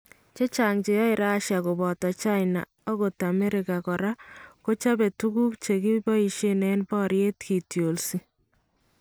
Chechang cheyae Russia kobotoo China ako Amerika koraa kochapee tukuk kekiboisyeen en baryeet kitlosyi